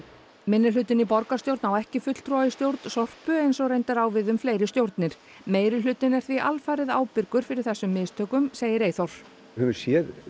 minnihlutinn í borgarstjórn á ekki fulltrúa í stjórn Sorpu eins og reyndar á við um fleiri stjórnir meirihlutinn er því alfarið ábyrgur fyrir þessum mistökum segir Eyþór við höfum séð